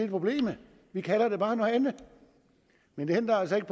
problemet vi kalder det bare noget andet men det ændrer altså ikke